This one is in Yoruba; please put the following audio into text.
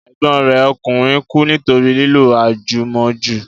Ẹ̀gbọ́n rẹ̀ ọkùnrin kú nítorí lílo àjùmọ́jù